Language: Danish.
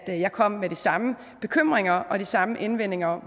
jeg kom med de samme bekymringer og de samme indvendinger om